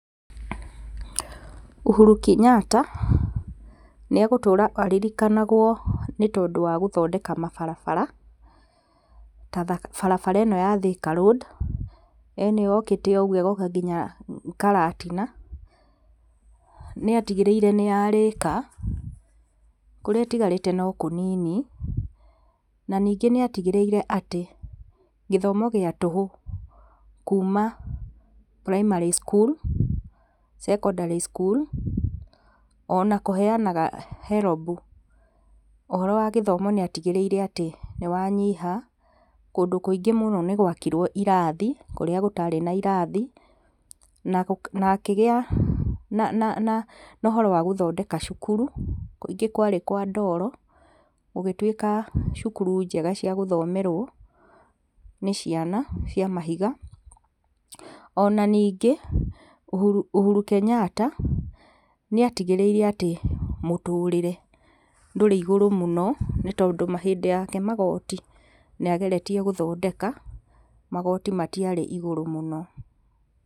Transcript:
Uhuru Kenyatta nĩ egũtũra aririkanagwo nĩ tondũ wa gũthondeka mabarabara ta barabara ĩno ya Thika road ĩno yũkite ũguo ĩgoka nginya Karatina. Nĩ atigĩrĩire nĩ yarĩka kũrĩa ĩtigarĩte no kũnini na ningĩ nĩatigĩrĩire atĩ gĩthomo gĩa tũhũ kuma primary shool secondary school ona kũheanaga herombu ũhoro wa gíĩthomo nĩ atigĩrĩire atĩ nĩwanyiha kũndũ kũingĩ mũno nĩ gwakirwo irathi kũrĩa gũtarĩ na irathi. Na akĩgĩa na ũhoro wa gũthondeka cukuru kũingĩ kwarĩ kwa ndoro gũgĩtuĩka cukuru cia gũthomerwo nĩ ciana cia mahiga. Ona ningĩ Uhuru Kenyatta nĩatigĩrĩire atĩ mũtũrĩre ndũrĩ igũrũ mũno nĩ tondũ hĩndĩ yake magoti nĩ ageretie gũthondeka magoti matiarĩ igũrũ mũno.